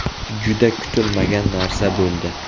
Juda kutilmagan narsa bo‘ldi.